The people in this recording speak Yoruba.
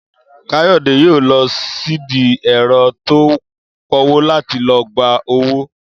Káyò̩dé yóò lo̩ sídìí è̩ro̩ tó ń po̩wó láti lo̩ gba owó